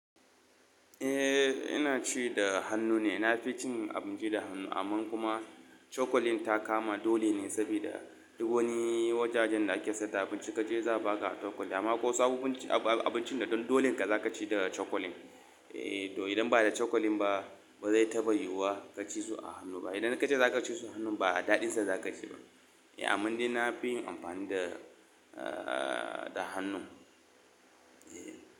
Eh, ina ci da hannu ne. Na fi cin abinci da hannu, amma kuma cokalin ta kama dole ne saboda duk wani wajajen da ake sayar da abinci ka je za a baka cokali, ko sabo abincin da dole ka za ka ci da cokalin. To idan ba da cokalin ba ba zai taɓa yiwuwa ka ci su a hannu ba. Idan ka je ka ci su a hannu ba daɗinsa za ka ci ba. Amma ni na fi yin amfani da, da hannu. Eh.